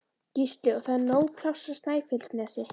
Gísli: Og það er nóg pláss á Snæfellsnesi?